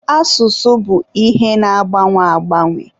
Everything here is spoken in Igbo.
Asụsụ bụ ihe na-agbanwe agbanwe.